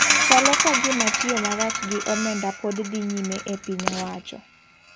Chalo ka gima tiyo marach gi omenda pod dhi nyime e piny owacho.